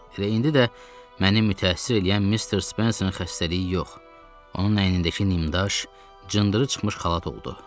Elə indi də məni mütəəssir eləyən Missis Spencerin xəstəliyi yox, onun əynindəki nimdaş, cındırı çıxmış xalat oldu.